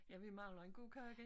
Ja vi mangler en gode kage